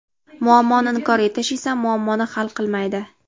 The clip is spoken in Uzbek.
Muammoni inkor etish esa muammoni hal qilmaydi.